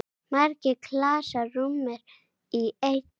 Margir klasar rúmast í einni.